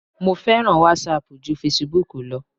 Mo fẹ́ràn wásaàpù ju fesibúùkù lọ.